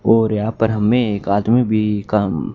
और यहां पर हमें एक आदमी भी काम--